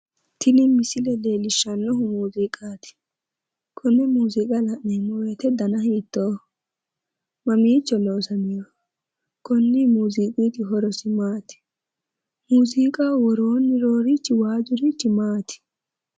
Tini misile leellishshannohu muuziiqaati. Konne muuziiqa la'neemmo woyite dana hiittooho? Mamiicho loosamiwoho? Konni muuziiqi horosi maati? Muuziiqaho woroonni noorichi waajjurichi maati?